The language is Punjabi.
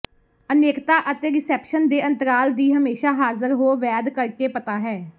ਅਨੇਕਤਾ ਅਤੇ ਰਿਸੈਪਸ਼ਨ ਦੇ ਅੰਤਰਾਲ ਦੀ ਹਮੇਸ਼ਾ ਹਾਜ਼ਰ ਹੋ ਵੈਦ ਕਰਕੇ ਪਤਾ ਹੈ